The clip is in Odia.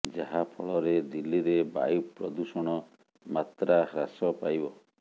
ଯାହା ଫଳରେ ଦିଲ୍ଲୀରେ ବାୟୁ ପ୍ରଦୂଷଣ ମାତ୍ରା ହ୍ରାସ ପାଇବ